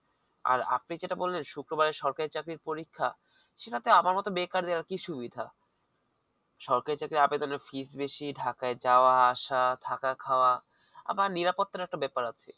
আর আপনি যেটা বললেন শুক্রবারে সরকারি চাকরির পরীক্ষা সে ক্ষেত্রে আমার মত বেকাররা কি সুবিধা সরকারি চাকরি আবেদনের fees বেশি ঢাকায় যাওয়া আসা থাকা খাওয়া আবার নিরাপত্তার ব্যাপার আছে